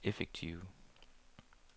effektive